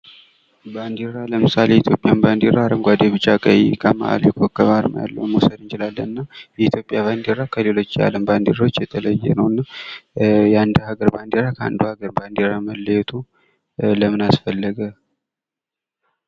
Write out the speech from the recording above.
ባንዲራ ለምሳሌ የኢትዮጵያ ባንዴራ አረንጓዴ፣ ቢጫ፣ ቀይ ከማህል ላይ የኮከብ አርማ ያለውን መውሰድ እንችላለን። እና የኢትዮጵያ ባንዲራ ከሌሎች የአለም ባንዴሮች የተለየ ነው። እና የአንድ ሃገር ባንዴራ ከአንዱ ሃገር መለየቱ ለምን አስፈለገ?